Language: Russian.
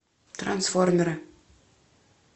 трансформеры